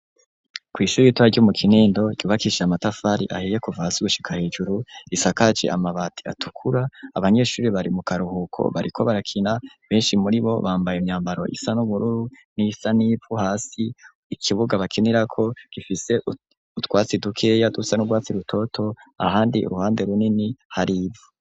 Kw'ishure ritoya ryo mu Kinindo, ryubakishije amatafari ahiye kuva hasi gushika hejuru, risakaje amabati atukura, abanyeshure bari mu karuhuko bariko barakina, benshi muri bo bambaye imyambaro isa n'ubururu n'iyisa n'ivu hasi, ikibuga bakinirako gifise utwatsi dukeya dusa n'urwatsi rutoto, ahandi uruhande runini hari ivu.